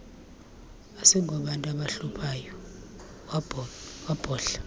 asingobantu abahluphayo wabhodla